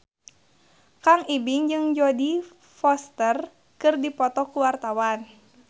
Kang Ibing jeung Jodie Foster keur dipoto ku wartawan